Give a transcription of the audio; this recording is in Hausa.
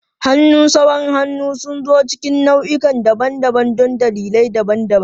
Hannun sawun hannu sun zo cikin nau'ikan daban-daban don dalilai daban-daban.